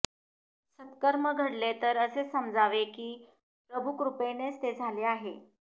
सत्कर्म घडले तर असे समजावे की प्रभुकृपेनेच ते झाले आहे